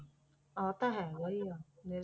ਆਹ ਤਾਂ ਹੈਗਾ ਹੀ ਆ।